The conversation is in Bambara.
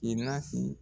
I nasi